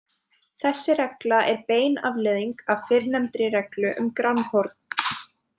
Þessi regla er bein afleiðing af fyrrnefndri reglu um grannhorn.